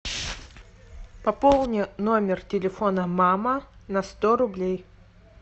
пополни номер телефона мама на сто рублей